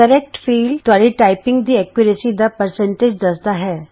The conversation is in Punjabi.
ਸਹੀ ਖੇਤਰ ਤੁਹਾਡੀ ਟਾਈਪਿੰਗ ਦੀ ਸ਼ੁੱਧਤਾ ਦਾ ਪ੍ਰਤੀਸ਼ਤ ਦੱਸਦਾ ਹੈ